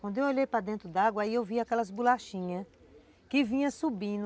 Quando eu olhei para dentro d'água, aí eu vi aquelas bolachinhas que vinham subindo.